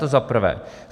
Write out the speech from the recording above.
To za prvé.